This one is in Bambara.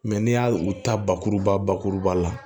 n'i y'a u ta bakuruba bakuruba la